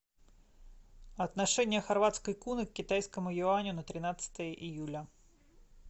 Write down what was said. отношение хорватской куны к китайскому юаню на тринадцатое июля